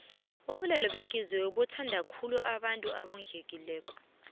ubulwele behliziyo buthondakhulu abantu abondlekile